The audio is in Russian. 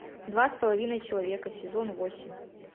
два с половиной человека сезон восемь